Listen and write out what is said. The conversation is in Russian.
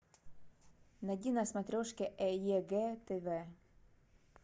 найди на смотрешке егэ тв